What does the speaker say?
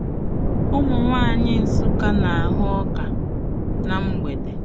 Ụmụ nwanyị Nsukka na-ahụ ọka na mgbede.